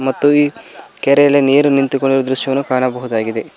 ಮತ್ತು ಈ ಕೆರೆಯಲ್ಲಿ ನೀರು ನಿಂತುಕೊಂಡಿರುವ ದೃಶ್ಯವನು ಕಾಣಬಹುದಾಗಿದೆ.